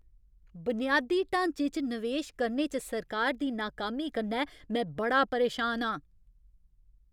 बुनियादी ढांचे च नवेश करने च सरकार दी नाकामी कन्नै में बड़ा परेशान आं।